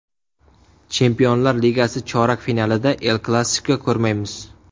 Chempionlar Ligasi chorak finalida El-Klassiko ko‘rmaymiz.